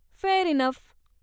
Fair enough!